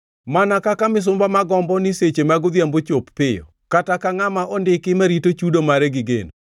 Mana kaka misumba ma gombo ni seche mag odhiambo ochop piyo, kata ka ngʼama ondiki marito chudo mare gi geno,